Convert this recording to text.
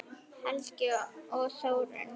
Helgi og Þórunn.